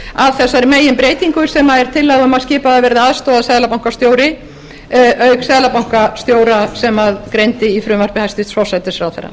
að þessari meginbreytingu sem er tillaga um að skipaður verði aðstoðarseðlabankastjóri auk seðlabankastjóra sem greindi í frumvarpi hæstvirts forsætisráðherra